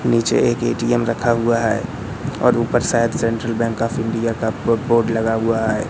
नीचे एक ए_टी_एम रखा हुआ है और ऊपर शायद सेंट्रल बैंक ऑफ़ इंडिया का ब बोर्ड लगा हुआ है।